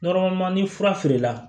ni fura feerela